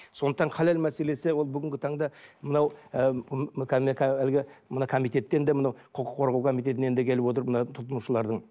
сондықтан халал мәселесі ол бүгінгі таңда мынау ы әлгі мына комитеттен де мынау құқық қорғау комитетінен де келіп отыр мына тұтынушылардың